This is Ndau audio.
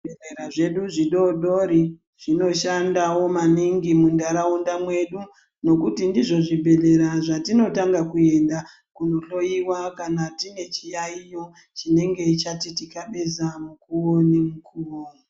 Zvibhehlera zvedu zvidodori zvinoshandawo maningi munharaunda mwedu nekuti ndizvo zvibhehlera zvatinotanga kuenda kunohloyiwa kana tine chiyayiyo chinenge chechitikabeza mukuwo ngemukuwo.